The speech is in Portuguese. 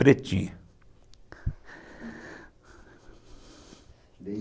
Pretinha.